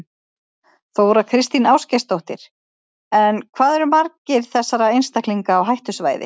Þóra Kristín Ásgeirsdóttir: En hvað eru margir þessara einstaklinga á hættusvæði?